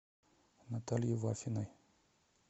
наталье вафиной